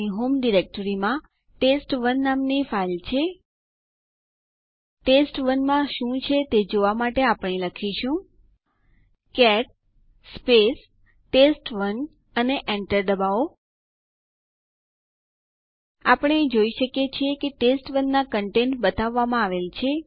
sudo આદેશ administrative user ને super user તરીકે આદેશ ચલાવવા માટેની પરવાનગી આપે છે